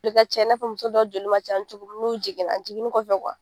Joli ka ca, i na fɔ muso dɔw joli ma ca cogo mun nu jiginna, jiginin kɔfɛ